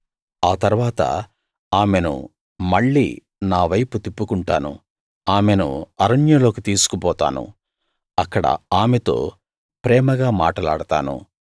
ఆ తరవాత ఆమెను మళ్లీ నావైపు తిప్పుకుంటాను ఆమెను అరణ్యంలోకి తీసుకుపోతాను అక్కడ ఆమెతో ప్రేమగా మాటలాడతాను